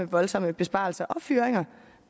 voldsomme besparelser og fyringer